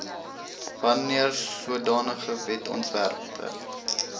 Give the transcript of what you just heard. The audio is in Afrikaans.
wanneer sodanige wetsontwerpe